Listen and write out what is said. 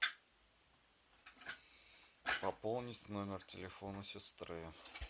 пополнить номер телефона сестры